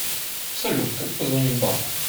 салют как позвонить банку